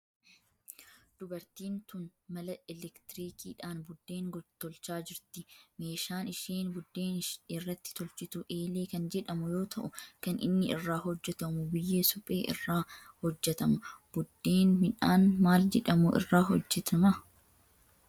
Dubartiin tun mala elektirikiidhan buddeen tolchaa jirti. Meeshaan isheen buddeen irratti tolchitu eelee kan jedhamu yoo ta'u kan inni irraa hojjetamu biyyee suphee irraa hojjetama. Buddeen midhaan maal jedhamu irraa hojjetama?